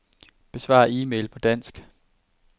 Besvar e-mail på dansk.